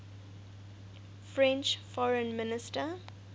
french foreign minister